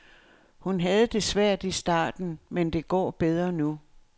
Hun havde det svært i starten, men det går bedre nu.